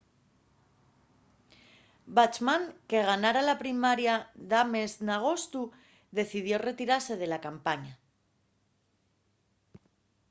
bachmann que ganara la primaria d’ames n’agostu decidió retirase de la campaña